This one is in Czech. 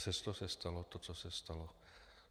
Přesto se stalo to, co se stalo.